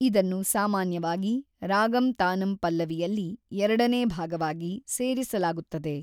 ಇದನ್ನು ಸಾಮಾನ್ಯವಾಗಿ ರಾಗಂ ತಾನಂ ಪಲ್ಲವಿಯಲ್ಲಿ ಎರಡನೇ ಭಾಗವಾಗಿ ಸೇರಿಸಲಾಗುತ್ತದೆ.